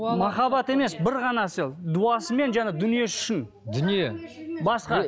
махаббат емес бір ғана сол дуасымен жаңа дүниесі үшін дүние басқа